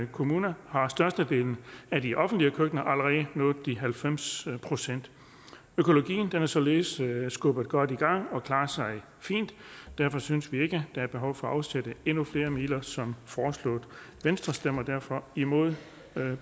kommune har størstedelen af de offentlige køkkener allerede nået de halvfems procent økologien er således skubbet godt i gang og klarer sig fint derfor synes vi ikke at der er behov for at afsætte endnu flere midler som foreslået venstre stemmer derfor imod